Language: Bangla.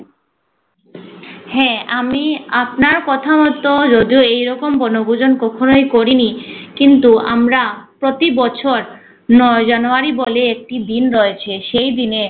হ্যা আমি আপনার কথামত যদিও এরকম বনভূজন কক্ষ নয় করিনি। কিন্তু আমরা প্রতি বছর নয় জানুয়ারি বলে একটি দিন রয়েছে সেই দিনে